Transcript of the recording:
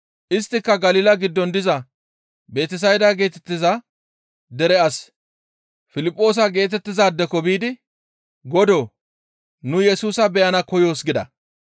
Isttika Galila giddon diza Betesayda geetettiza dere as Piliphoosa geetettizaadeko biidi, «Godoo! Nu Yesusa beyana koyoos» gida.